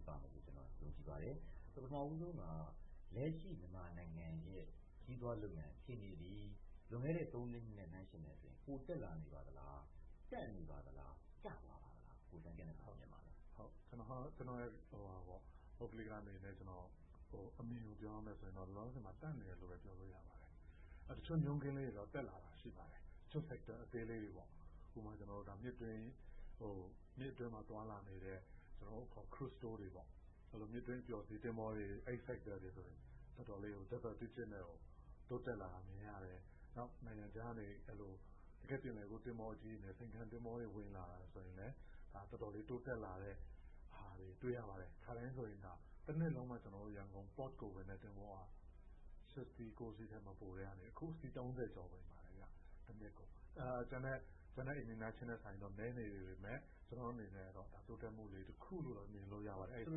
းပါမယ်လို့ ကျနော် ယုံကြည်ပါတယ်။ ပထမဦးဆုံးက လက်ရှိ မြန်မာနိုင်ငံရဲ့ ခရီးသွားလုပ်ငန်းအခြေအနေသည် လွန်ခဲ့တဲ့ သုံးလေးနှစ်နဲ့ နှိုင်းယှဉ်မယ်ဆိုရင် ပိုတက်လာနေပါသလား။ တန့်နေပါသလား၊ ကျသွားပါသလား။ ကျနော့် ပုဂ္ဂလိအမြင်ကို လက်ရှိအခြေအနေ၊ ရင်ဆိုင်နေရတဲ့ အခက်အခဲတွေ၊ အနာဂတ် ပြောရမယ်ဆိုရင်တော့ လောလောဆယ်မှာတော့ တန့်နေတယ်လို့ ပြောလို့ရပါတယ်။ တချို့တွေတော့ တက်လာတာ ရှိပါတယ်။ တချို့ Sector အသေးလေးတွေပေါ့။ ဥပမာ မြစ်အတွင်းမှာ သွားလာနေတဲ့ ကျနော်တို့အခေါ် Cruise Tour တွေပေါ့။ မြစ်အတွင်း အပျော်စီးသင်္ဘောတွေ Sector တွေဆိုရင် တော်တော်လေးကို Double digits နဲ့ကို တိုးတက်လာတာ မြင်ရတယ်။ နောက် နိုင်ငံခြားကနေ အဲဒီလို တကယ့် ပင်လယ်ကူး သင်္ဘောကြီးတွေနဲ့ ဆိပ်ကမ်းသင်္ဘောတွေ ဝင်လာတာဆိုရင်လည်း တော်တော်လေး တိုးတက်လာတာကို တွေ့ရပါတယ်။ ခါတိုင်းဆိုရင် တနှစ်လုံးမှ ရန်ကုန် Port ကို ဝင်တဲ့ သင်္ဘောက ရှစ်စီး၊ ကိုးစီးထက် မပိုတဲ့ဟာက အခုဆိုရင် အစီး ကျော် ဝင်ပါတယ် တနှစ်ကို။ ကျန်တဲ့ Nation တွေနဲ့ နှိုင်းယှဉ်ရင်တော့ နည်းနေသေးပေမယ့် ကျနော်တို့အနေနဲ့တော့ တိုးတက်မှုလေး တခုလို့ မြင်လို့ရပါတယ်။ ဆို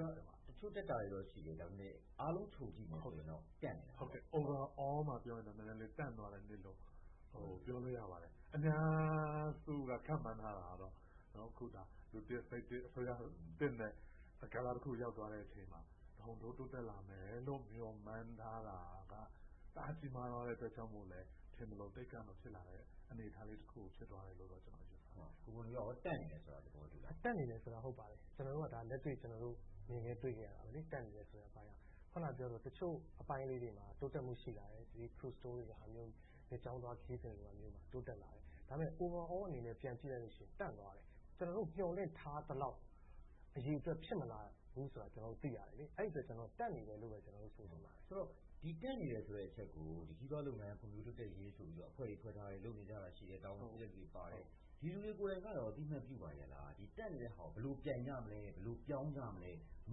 လိုတာက တချို့တက်တာတွေတော့ ရှိတယ်။ ဒါပေမဲ့ အားလုံးခြုံကြည့်မယ်ဆိုရင်တော့ တန့်နေတယ်ပေါ့။ Overall အနေနဲ့ ပြောရင်တော့ နည်းနည်းလေး တန့်သွားတယ်လို့ ပြောလို့ရပါတယ်။ အများစုက ခန့်မှန်းထားတာတော့ အခုဆိုရင် လူသစ်၊ စိတ်သစ်၊ အစိုးရသစ်နဲ့ ကဏ္ဍတခု ရောက်သွားတဲ့အချိန်မှာ တဟုန်းထိုး တိုးတက်လာမယ်လို့ မျှော်မှန်းထားတာ တအားကြီးမားသွားတဲ့အတွက်ကြောင့်မို့လဲ ထင်သလို Take up ဖြစ်မလာတဲ့ အနေအထားလေးတခု ဖြစ်သွားတယ်လို့ ကျနော် ယူဆပါတယ်။ ကိုဘွန်နီဦးအနေနဲ့ တန့်နေတယ်ဆိုတာကို သဘောတူလား။ တန့်နေတယ်ဆိုတာ ဟုတ်ပါတယ်။ ကျနော်တို့က လက်တွေ့ မြင်ခဲ့တွေ့ခဲ့ရတာ တန့်နေတယ်ဆိုတဲ့အပိုင်းက။ အခုနပြောသလို တချို့အပိုင်းလေးတွေမှာ တိုးတက်မှု ရှိလာတယ်။ Cruise Tour မြစ်ကြောင်းသွားခရီးသွားမှာ တိုးတက်လာတယ်။ ဒါပေမဲ့ Overall အနေနဲ့ ပြန်ကြည့်လိုက်ရင် တန့်သွားတယ်။ ကျနော်တို့ မျှော်လင့်ထားသလောက် အရေအတွက် ဖြစ်မလာသေးဘူးဆိုတာ သိရတယ်။ အဲဒီအတွက် ကျနော်တို့က တန့်နေတယ်လို့ပဲ ဆိုချင်ပါတယ်။ ဆိုတော့ ဒီတန့်နေတယ်ဆိုတဲ့ အချက်ကို ခရီးသွားလုပ်ငန်း ဖွံ့ဖြိုးတိုးတက်ရေးဆိုပြီး အဖွဲ့တွေ ဖွဲ့ထားတယ်။ လုပ်နေကြတာ ရှိတယ်။ တာဝန်ရှိတဲ့လူတွေ ပါတယ်။ ဒီလူတွေကိုယ်တိုင်က အသိအမှတ်ပြုပါရဲ့လား။ ဒီတန့်နေတဲ့ဟာကို ဘယ်လိုပြိုင်ကြမလဲ။ ဘယ်လို ပြောင်းကြမလဲ။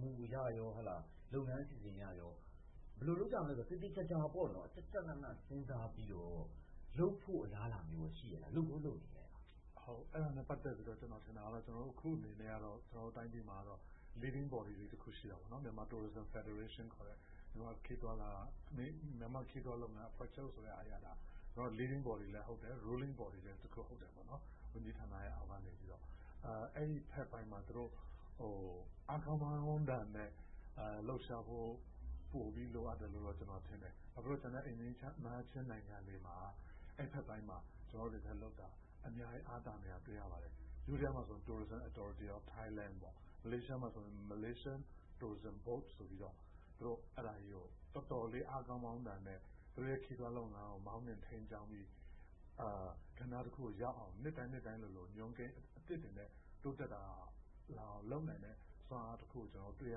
မူအရ၊ လုပ်ငန်းအစီအစဉ်အရကော ဘယ်လိုလုပ်ကြမလဲဆိုတာ သေသေချာချာ၊ ကျကျနန စဉ်းစားပြီးတော့ လုပ်ဖို့ အလားအလာမျိုးကော ရှိရဲ့လား။ လုပ်ကောလုပ်နေရဲ့လား။ အဲဒါနဲ့ ပတ်သက်ပြီးတော့ ကျနော်ထင်တာကတော့ အခုအနေနဲ့ ကျနော်တို့တိုင်းပြည်မှာ Leading Body တခု ရှိတယ် Myanmar Tourism Federation ခေါ်တဲ့ မြန်မာ့ခရီးသွားလုပ်ငန်း အဖွဲ့ချုပ်က Leading Body လည်းဟုတ်တယ်။ Ruling Body လည်းဟုတ်တယ်။ ဝန်ကြီးဌာနအောက်ကနေပြီးတော့ - အဲဒီဘက်ပိုင်းမှာ သူတို့ အားကောင်းမောင်းသန်နဲ့ လှုပ်ရှားဖို့ ပိုပြီးလိုအပ်တယ်လို့ ကျနော်ထင်တယ်။ ဘာဖြစ်လို့လဲဆိုတော့ ကျန်တဲ့ အိမ်နီးနားချင်းနိုင်ငံတွေမှာ အဲဒီဘက်ပိုင်းမှာ ကျနော်တို့တွေထက်လုပ်တာ အများကြီး အားသာနေတာ တွေ့ရပါတယ်။ ယိုးဒယားမှာဆိုရင် Tourism Authority of Thailand, မလေးရှားမှာဆိုရင် Malaysian Tourism Board ဆိုပြီးတော့ တော်တော်ကြီးကို အားကောင်းမောင်းသန်နဲ့ သူတို့ရဲ့ ခရီးသွားလုပ်ငန်းကို မောင်းနှင်းထိန်းကျောင်းပြီး ကဏ္ဍတခုကို ရောက်အောင် နှစ်တိုင်းနှစ်တိုင်းလိုလို ညွှန်းကိန်းအသစ်တွေနဲ့ တိုးတက်လာအောင် လုပ်နိုင်တဲ့ စွမ်းအားတခုကို တွေ့ရ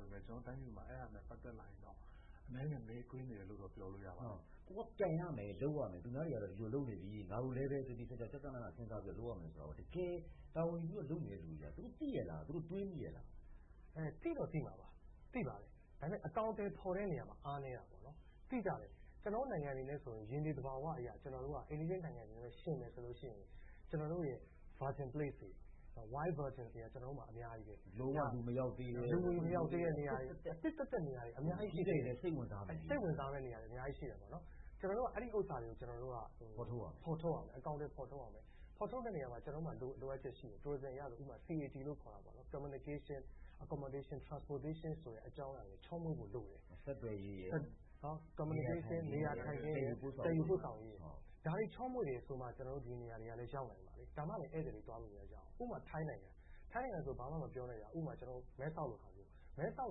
ပေမယ့် ကျနော်တို့တိုင်းပြည်မှာ အဲဒါနဲ့ ပတ်သက်လာရင်တော့ အနည်းငယ် နှေးကွေးနေတယ်လို့ ပြောလို့ရပါတယ်။ ကိုယ်က ပြိုင်ရမယ်။ လုပ်ရမယ်။ သူများတွေကတော့ ဒီလိုလုပ်နေပြီ၊ ငါတို့လည်းပဲ သေသေချာချာ၊ ကျကျနန စဉ်းစားပြီး လုပ်ရမယ်ဆိုတာကို တကယ် တာဝန်ယူပြီးတော့ လုပ်နေတဲ့လူတွေက သိရဲ့လား။ သူတို့ တွေ့မိရဲ့လား။ သိတော့သိမှာပါ။ ဒါပေမဲ့ အကောင်အထည်ဖော်တဲ့ နေရာမှာ အားနည်းတာ။ သိကြပါတယ်။ ကျနော်တို့ နိုင်ငံအနေနဲ့ဆိုရင် ရေမြေသဘာဝအရ အိမ်နီးချင်းနိုင်ငံတွေနဲ့ ယှဉ်မယ်ဆိုရင် ကျနော်တို့ရဲ့ Virgin Places တွေ၊ Wild Virgins တွေက ကျနော်တို့ဆီမှာ အများကြီး။ လူသူမရောက်သေးတဲ့ နေရာတွေ၊ အသစ်သက်သက်နေရာတွေ။ အသစ်သက်သက်နေရာတွေ အများကြီးရှိတယ်။ ခရီးသွားတွေလည်း စိတ်ဝင်စားမယ့် နေရာတွေ အများကြီးရှိတယ်။ ကျနော်တို့က အဲဒီဥစ္စာတွေကို ဖော်ထုတ်ရမယ်။ အကောင်အထည် ဖော်ထုတ်ရမယ်။ ဖော်ထုတ်တဲ့နေရာမှာ ကျနေ်ာတို့မှာ လိုအပ်ချက်ရှိမယ်။ Tourism အရဆိုရင် CAT လို့ ခေါ်တယ်။ Communication, Accommodation, Transportation ချောမွေ့တယ်ဆိုမှ ကျနော်တို့ ဒီနေရာတွေကို ရောက်နိုင်မှာ။ဒါမှလဲ ဧည့်သည်တွေ ရောက်နိုင်မယ်။ ဥပမာ ထိုင်းနိုင်ငံ။ မဲ့ဆော့လို့ နေရာမျိုး။ မဲ့ဆော့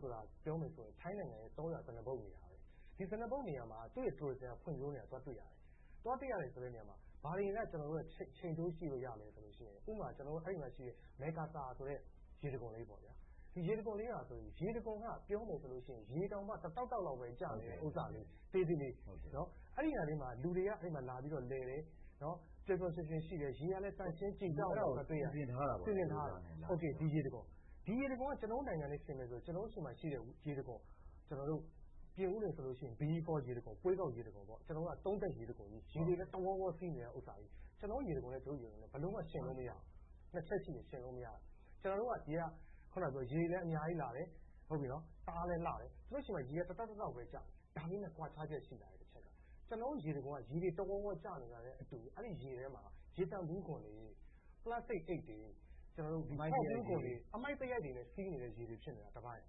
ဆိုတာ ပြောမယ်ဆိုရင် ထိုင်းနိုင်ငံရဲ့ တောရွာဇနပုဒ်နေရာ။ ဒီဇနပုဒ်နေရာမှာ သူ့ရဲ့ Tourism က ဖွံ့ဖြိုးနေတာကို တွေ့ရတယ်။ သွားတွေ့ရတယ်ဆိုတဲ့ နေရာမှာ ဘာတွေနဲ့ ချိန်ထိုးကြည့်လို့ရသလဲဆိုရင် ဥပမာ အဲဒီမှာရှိတဲ့ မဲ့ကာဆာဆိုတဲ့ ရေတခွန်လေးဟာဆိုရင် ရေတောင်မှ တတောက်တောက်လောက် ကျနေတဲ့ဥစ္စာလေး သေးသေးလေး။ အဲဒီနေရာလေးမှာ လူတွေက လာပြီးတော့ လည်တယ်။ ပျော်ပျော်ရွှင်ရွှင်ရှိတယ်။ ရေကလည်း သန့်ရှင်းကြည်တောက်နေတာကို တွေ့ရတယ်။ အဲဒီလို စီစဉ်ထားတာ။ ဒီရေတံခွန်က ကျနော်တို့နိုင်ငံနဲ့ ယှဉ်မယ်ဆိုရင် ကျနော်တို့ဆီမှာရှိတဲ့ ရေတခွန် - ပြင်ဦးလွင်ဆိုရင် BE Fall ရေတခွန်၊ ဘွေးကောက်ရေတခွန် - သုံးထပ်ရေတခွန်ကြီး။ ရေတွေလည်း တဝေါဝေါ စီးနေတယ်။ ကျနော်တို့ ရေတခွန်နဲ့ သူတို့ရေတခွန် ဘယ်လိုမှ ယှဉ်လို့မရဘူး။ နှစ်ချက်ရှိတယ် - ယှဉ်လို့မရတာ။ ကျနော်တို့က ရေတွေလည်း အများကြီးလာတယ်။ တအားလည်း လှတယ်။ သူတို့ဆီမှာ ရေက တတောက်တောက်ပဲကျတယ်။ ဒါပေမဲ့ ကွာခြားချက် ရှိတဲ့တချက်က ကျနော်တို့ ရေတခွန်က ရေတဝေါဝေါ ကျနေတာနဲ့ မတူဘူး။ အဲဒီရေထဲမှာ ရေသန့်ဘူးခွံတွေ၊ ပလက်စတစ်အိတ်တွေ၊ အမှိုက်သရိုက်တွေနဲ့ စီးနေတဲ့ရေတွေ ဖြစ်နေတာကတပိုင်း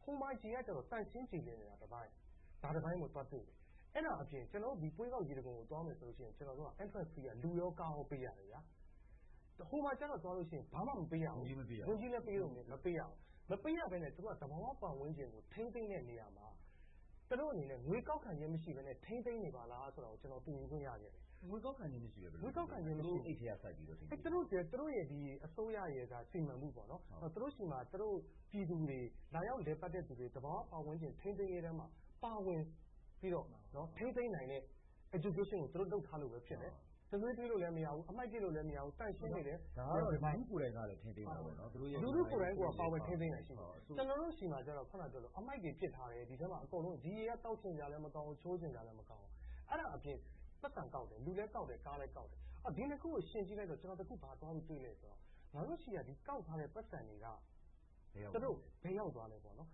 ။ ဟိုမှာကြတော့ ရေက သန့်ရှင်းကြည်လင်နေတယ်။ အဲဒါအပြင် ကျနော်တို့ ဘွေးကောက်ရေတခွန်ကို သွားမယ်ဆိုရင် ကျနော်တို့က Education ကို သူတို့လုပ်ထားလို့ပဲ ဖြစ်မယ်။ တံတွေးထွေးလို့လည်း မရဘူး။ အမှိုက်ပစ်လို့လည်း မရဘူး။ သန့်ရှင်းနေတယ်။ ဒါကတော့ လူထုကိုယ်တိုင်ကလည်း ထိန်းသိမ်းတာပေါ့။ လူထုကိုယ်တိုင်းက ပါဝင်ထိန်းသိမ်းတာရှိတယ်။ ကျနော်တို့ဆီမှာကြတော့ အမှိုက်တွေ ပစ်ထားတယ်။ ဒီထဲမှာ ဒီရေက သောက်ချင်စရာလည်း မကောင်းဘူး။ ချိုးချင်စရာလည်း မကောင်းဘူး။ အဲဒါအပြင် ပိုက်ဆံကောက်တယ်။ လူလည်းကောက်တယ်။ ကားလည်းကောက်တယ်။ ဒီနှစ်ခုကို ယှဉ်ကြည့်လိုက်တော့ တခု ဘာသွားပြီး တွေ့သလဲဆိုတော့ ငါ့တို့ဆီက ကောက်ထားတဲ့ ပိုက်ဆံတွေက ဘယ်ရောက်သွားလဲ။ ဒါတွေကို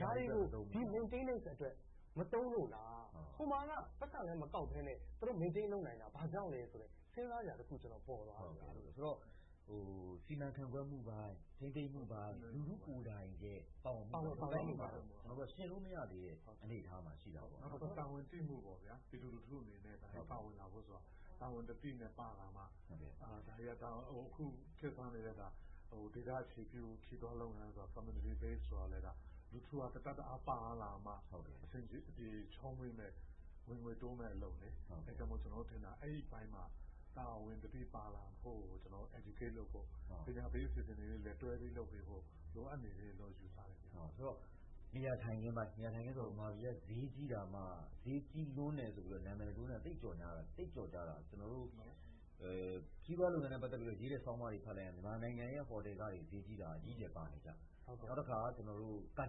Maintaince အတွက် မသုံးလို့လား။ ဟိုမှာက ပိုက်ဆံလည်း မကောက်ဘဲနဲ့ သူတို့ Maintaince လုပ်နိုင်တာ ဘာကြောင့်လဲဆိုတဲ့ စဉ်းစားစရာတခု ပေါ်သွားတယ်။ ဆိုတော့ စီမံခန့်ခွဲမှုပိုင်း၊ ထိန်းသိမ်းမှုပိုင်း၊ လူထုကိုယ်တိုင်ရဲ့ ပါဝင်ဆောင်ရွက်နေမှုပိုင်းမှာ ယှဉ်လို့မရသေးတဲ့ အနေအထားမှာ ရှိတာပေါ့။ နောက်တခုက တာဝန်သိမှု။ ပြည်သူလူထုအနေနဲ့ ပါဝင်လာဖို့ဆိုတာ တာဝန်သတိနဲ့ ပါလာမှ ဒါတွေက အခုခေတ်စားနေတဲ့ ဒေသအခြေပြု ခရီးသွားလုပ်ငန်း Community Base ဆိုတာလည်း လူထုက တတက်တအား ပါလာမှ အဆင်ပြေ၊ ချောမွေ့မယ့် ဝင်ငွေတိုးမယ့်အလုပ်လေ။ အဲဒါကြောင့်မို့ ကျနော်တို့ထင်တာ အဲဒီအပိုင်းမှာ တာဝန်သိ ပါလာဖို့ိကို Educate လုပ်ဖို့ ဆိုတော့ နေရာထိုင်ခင်းပိုင်း။ မြန်မာပြည်က ဈေးကြီးတာမှ ဈေးကြီးလွန်တယ်လို့ နာမည်ဆိုးနဲ့ သိပ်ကျော်ကြားနေတာ - ကျနော်တို့ ခရီးသွားလုပ်ငန်းနဲ့ ပတ်သက်တဲ့ ခရီးသွားဆောင်းပါးတွေ ဖတ်လိုက်ရင် မြန်မာနိုင်ငံရဲ့ ဟော်တယ်ခတွေ ဈေးကြီးတာ အကြီးအကျယ်ပါနေကြ။ နောက်တခါ ကားကြပ်တာ။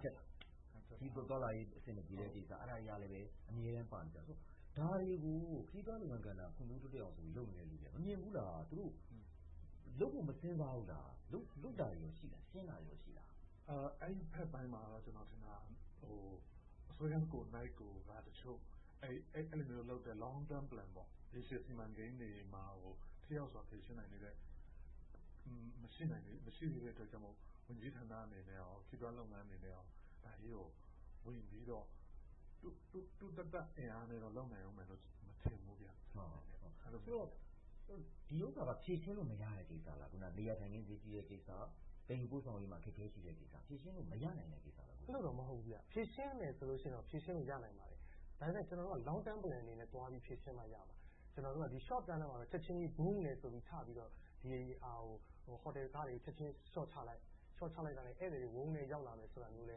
ခရီးသွားလာရေး အဆင်မပြေတဲ့ကိစ္စ။ အဲဒါတွေကလည်း အမြဲတမ်း ပါနေကြဆိုတော့ ဒါတွေကို ခရီးသွားလုပ်ငန်းကဏ္ဍ ဖွံ့ဖြိုးတိုးတက်အောင်ဆိုပြီး လုပ်နေတဲ့လူတွေက မမြင်ဘူးလား။ သူတို့ လုပ်ဖို့ မစဉ်းစားဘူးလား။ လုပ်တာတွေကော ရှိလား။ ရှင်းတာတွေကော ရှိလား။ အဲဒီဘက်ပိုင်းမှာတော့ ကျနော်ထင်တာ အစိုးရကိုယ်တိုင်က တချို့ အဲဒီလိုမျိုးလုပ်တဲ့ Longterm Plan ရေရှည်စီမံကိန်းတွေမှာ ထိရောက်စွာ ဖြေရှင်းနိုင်သေးတဲ့ မရှိသေးတဲ့အတွက်ကြောင့်မို့ ဝန်ကြီးဌာနအနေနဲ့ ခရီးသွားလုပ်ငန်းအနေနဲ့ ဒါကြီးကို ဝင်ပြီးတော့ သူသက်သက် အင်အားနဲ့တော့ လုပ်နိုင်မယ်လို့ မထင်ဘူး။ ဒီဥစ္စာက ဖြေရှင်းလို့ မရတဲ့ကိစ္စလား။ အခုနပြောတဲ့ နေရာထိုင်ခင်း ဈေးကြီးတဲ့ကိစ္စ။ သယ်ယူပို့ဆောင်ရေးမှာ အခက်အခဲရှိတဲ့ကိစ္စ။ ဖြေရှင်းလို့ မရနိုင်တဲ့ ကိစ္စလား။ အဲဒီလိုတော့ မဟုတ်ဘူး။ ဖြေရှင်းမယ်ဆိုရင်တော့ ဖြေရှင်းလို့ ရနိုင်ပါတယ်။ ဒါပေမဲ့ ကျနော်တို့က Longterm Plan အနေနဲ့ သွားပြီး ဖြေရှင်းမှရမှာ။ ကျနော်တို့က Shortterm ထဲမှာတော့ ချက်ချင်းကြီး ပြချက်ချင်းလျှော့ချလိုက်။ လျှော့ချလိုက်တာနဲ့ ဧည့်သည်တွေ ဝုန်းကနဲ့ တလုပ်ရမယ်။ Longterm Plan နဲ့ လု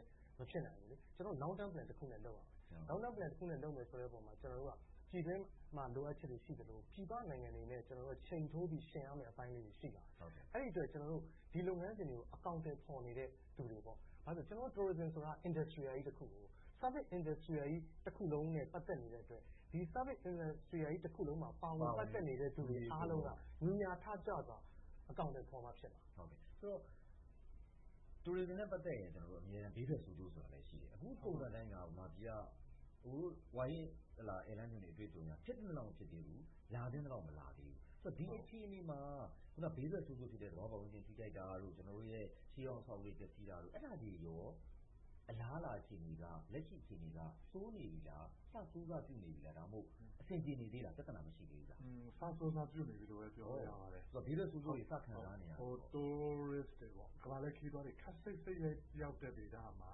ပ်မယ်ဆိုတဲ့နေရာမှာ ပြည်တွင်းမှာ လိုအပ်ချက်တွေ ရှိသလို၊ ပြည်ပနိုင်ငံတွေအနေနဲ့ ချိန်ထိုးပြီး ယှဉ်ရမယ့်အပိုင်းလေးတွေ ရှိလာတယ်။ အဲဒီအတွက် ကျနော်တို့ ဒီလုပ်ငန်းစဉ်တွေကို အကောင်အထည်ဖော်နေတဲ့လူတွေ - ကျနော်တို့ Toursim ဆိုတာ Industrial ကြီးတခု။ Service Industrial ကြီး တခုလုံးနဲ့ ပတ်သက်နေတဲ့အတွက် ဒီ Service Industrial တခုလုံးမှာ ပါဝင်ပတ်သက်နေတဲ့ အားလုံးက ညီညာထကြွစွာနဲ့ အကောင်အထည်ဖော်မှဖြစ်မှာ။ ဆိုတော့ Tourism နဲ့ ပတ်သက်ရင် ဘေးထွက်ဆိုးကျိုးဆိုတာလည်း ရှိတယ်။ အခု ပုံစံအတိုင်းက မြန်မာပြည်က အကိုတို့ ဝါရင့်ဧည့်လမ်းညွှန်တွေ အတွေ့အကြုံအရ ဖြစ်သင့်သလောက် မဖြစ်သေးဘူး။ လာသင့်သလောက် မလာသေးဘူး။ ဆိုတော့ ဒီအခြေအနေမှာ အခုနပြောတဲ့ ဘေးထွက်ဆိုးကျိုး သဘာဝပတ်ဝန်းကျင် ထိခိုက်တာတို့၊ ရှေးဟောင်းအဆောက်အဦးတွေ ပျက်ဆီးတာတို့ အဲဒါတွေကော အလားအလာ အခြေအနေ၊ လက်ရှိ အခြေအနေက ဆိုးနေပြီလား။ အစဆိုးစပျိုးနေပြီလား။ ဒါမှမဟုတ် အဆင်ပြေနေသေးလား။ ပြဿနာ မရှိသေးဘူးလား။ စဆိုးစပြုနေပြီလို့ပဲ ပြောလို့ရပါတယ်။ ဘေးထွက်ဆိုးကျိုးတွေ စခံစားနေရပြီလား။ ကမ္ဘာလှည့်ခရီးသွားတွေ ခပ်စိတ်စိတ် ရောက်တဲ့ဒေသမှာ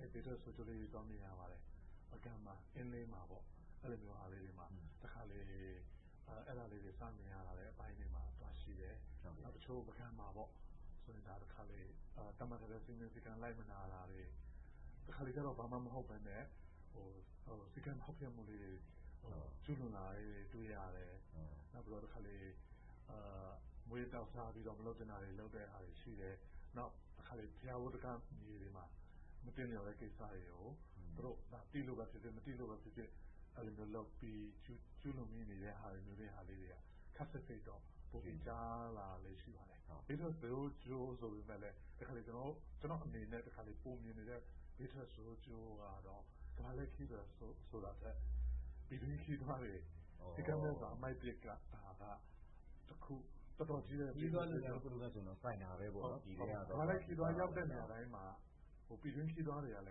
ဘေးထွက်ဆိုးကျိုးလေးတွေ သွားမြင်ရပါတယ်။ ပုဂံ၊ အင်းလေးမှာ တခါတလေ အဲဒါလေးတွေ စမြင်လာရတဲ့အပိုင်းတွေ သွားရှိတယ်။ နောက်တချို့ ပုဂံမှာ တခါတလေ သတ်မှတ်ထားတဲ့ စည်းမျဉ်းစည်းကမ်း မလိုက်နာတွေ။ တခါတလေကြတော့ ဘာမှမဟုတ်ဘဲနဲ့ စည်းကမ်းဖောက်ဖျက်မှုလေးတွေ ကျူးလွန်လာတာလေးတွေ တွေ့ရတယ်။ နောက်ပြီးတော့ မူးယစ်သောက်စားပြီးတော့ မလုပ်သင့်တာတွေ လုပ်တဲ့ဟာတွေ ရှိတယ်။ နောက်တခါ ဘုရားမြေပေါ်မှာ မသင့်လျော်တဲ့ကိစ္စတွေကို သူတို့ သိလို့ပဲဖြစ်ဖြစ်၊ မသိလို့ပဲဖြစ်ဖြစ် အဲဒီလိုမျိုးလုပ်ပြီး ကျူးလွန်တာတွေက ခပ်စိတ်စိတ်တော့ ကြားလာလို့ ရှိပါတယ်။ ဘေးထွက်ဆိုးကျိုးဆိုပေမယ့်လဲ တခါတလေ ကျနော့်အနေနဲ့ ပိုမြင်နေတဲ့ ဘေးထွက်ဆိုးကျိုးကတော့ ကမ္ဘာလှည့်ခရီးသွားတွေ ဆိုတာထက် ပြည်တွင်းခရီးသွားတွေ စည်းကမ်းမဲ့စွာ အမှိုက်ပစ်တာက တခု။ ခရီးသွားလုပ်ငန်းတခုလုံးနဲ့ဆိုရင် ဆိုင်တာပဲ။ ကမ္ဘာလှည့်ခရီးသွား ရောက်တဲ့နေရာတိုင်းမှာ ပြည်တွင်းခရီးသွားတွေကလ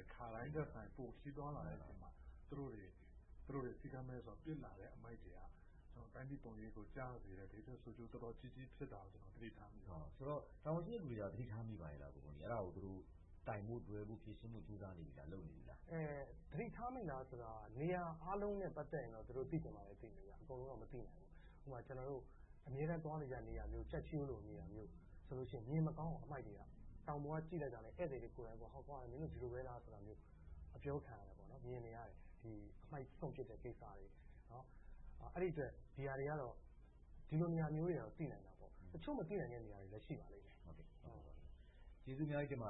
ည်း ခါတိုင်းထက်စာရင် ပိုခရီးသွားလာတဲ့နေရာမှာ သူတို့တွေ စည်းကမ်းမဲ့စွာ ပစ်လာတဲ့ အမှိုက်တွေက တိုင်းပြည်ပုံရိပ်ကို ကျစေတဲ့ ဘေးထွက်ဆိုးကျိုး တော်တော်ကြီးကြီး ဖြစ်တာကို ကျနော် သတိထားမိပါတယ်။ ဆိုတော့ တာဝန်ရှိသူတွေ သတိထားမိပါလား။ အဲဒါကို သူတို့ ကိုင်ဖို့တွယ်ဖို့ ဖြေရှင်းဖို့ ကြိုးစားနေ့ပြီလား။ သတိထားမိလားဆိုတာ နေရာအားလုံးနဲ့ ပတ်သက်ရင်တော့ သူတို့ သိချင်မှာသိမယ်။ အကုန်လုံးတော့ မသိနိုင်ဘူး။ ဥပမာ ကျနော်တို့ အမြဲတမ်း သွားနေတဲ့ နေရာမျိုး ကျိုက်ထီးရိုးလို နေရာမျိုးဆိုရင် မြင်မကောင်းအောင် အမှိုက်တွေက တောင်ပေါ်က ကြည့်လိုက်တာနဲ့ ဧည့်သည်တွေကိုယ်တိုင် “မင်းတို့ ဒီလိုပဲလား” ဆိုတာမျိုး အပြောခံရတယ်။ မြင်နေရတယ်။ အမှိုက်စွန့်ပစ်တဲ့ ကိစ္စတွေ။ အဲဒီအတွက် ဒီဟာတွေကတော့ ဒီလိုနေရာမျိုးတွေတော့ သိနိုင်တာပေါ့။ တချို့မသိနိုင်တဲ့ နေရာမျိုးတွေလည်း ရှိနိုင်ပါတယ်။ ကျေးဇူးအများကြီးတင်ပါ